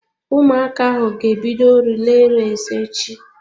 Ụmụaka ahụ ga-ebido relay race echi.